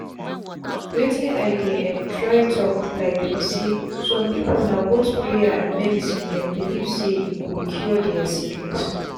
wetin i dey um try talk um be saysome people na both prayers and medicine them belief saye go cure their sickness.